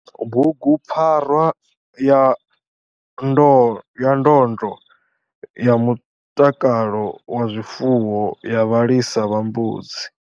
Bhugupfarwa ya ndondlo ya mutakalo wa zwifuwo ya vhalisa vha mbudzi.